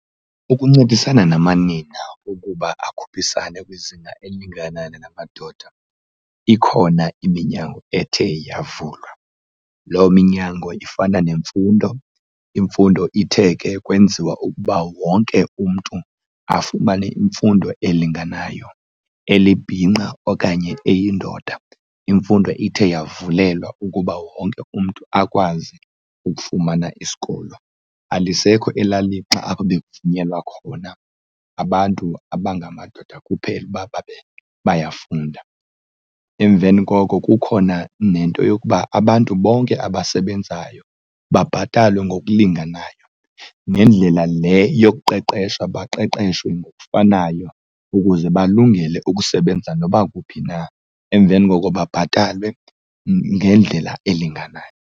Ukuncedisana namanina ukuba akhuphisane kwizinga elingana namadoda ikhona iminyango ethe yavulwa. Loo minyango ifana nemfundo. Imfundo ithe ke kwenziwa ukuba wonke umntu afumane imfundo elinganayo. Elibhinqa okanye eyindoda, imfundo ithe yavalwa ukuba wonke umntu akwazi ukufumana isikolo. Alisekho elaa lixa apho bekuvunyelwa khona abantu abangamadoda kuphela uba babe bayafunda. Emveni koko kukhona nento yokuba abantu bonke abasebenzayo babhatalwe ngokulinganayo, nendlela le yokuqeqesha baqeqeshwe ngokufanayo ukuze balungele ukusebenza noba kuphi na, emveni koko babhatalwe ngendlela elinganayo.